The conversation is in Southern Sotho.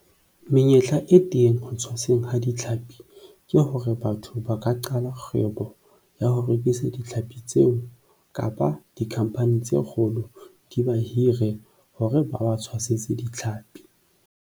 Menyetla e teng ho tshwaseng ha ditlhapi ke hore batho ba ka qala kgwebo ya ho rekisa ditlhapi tseo kapa di-company tse kgolo di ba hire hore ba ba tshwasetse ditlhapi.